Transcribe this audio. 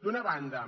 d’una banda